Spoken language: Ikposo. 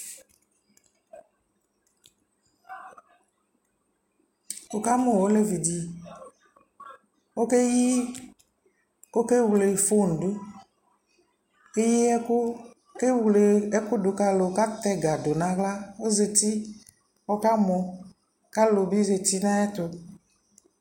Wu kamu ɔlɛvi dιƆkɛ yi ɔkɛ wle fon duKɛ yi ɛku, kɛ wle fon du ka lu katɛ ga du na ɣlaƆzati kɔka mɔ ka lu bi zati na yɛ tu